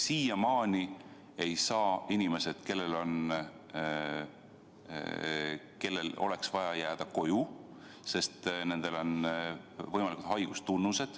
Siiamaani ei saa inimesed, kellel oleks seda vaja, sest neil on haigustunnused, jääda koju.